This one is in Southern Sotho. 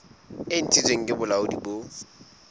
e ntshitsweng ke bolaodi bo